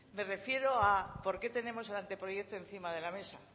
me refiero a por qué tenemos el anteproyecto encima de la mesa